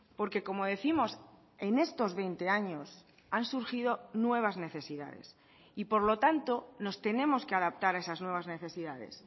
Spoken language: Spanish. porque como décimos en estos veinte años han surgido nuevas necesidades y por lo tanto nos tenemos que adaptar a esas nuevas necesidades